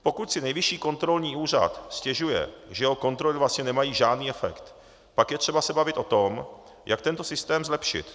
Pokud si Nejvyšší kontrolní úřad stěžuje, že jeho kontroly vlastně nemají žádný efekt, pak je třeba se bavit o tom, jak tento systém zlepšit.